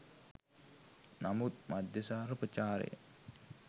නමුත් මද්‍යසාර ප්‍රචාරය